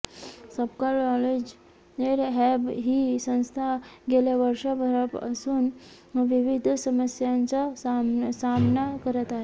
Sapkal knowledge hub ही संस्था गेल्या वर्षभरापासून विविध समस्यांचा सामना करत आहे